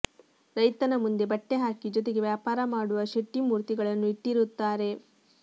ರೈತನ ಮುಂದೆ ಬಟ್ಟೆ ಹಾಕಿ ಜೊತೆಗೆ ವ್ಯಾಪಾರ ಮಾಡುವ ಶೆಟ್ಟಿ ಮೂರ್ತಿಗಳನ್ನು ಇಟ್ಟಿರುತ್ತಾರೆ